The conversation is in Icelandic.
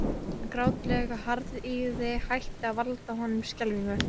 Hin grátlega harðýðgi hætti að valda honum skelfingu.